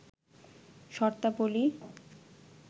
শর্তাবলী